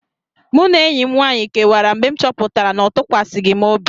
Mụ na enyi m nwaanyị kewara mgbe m chọpụtara na ọ tụkwasịghị m obi.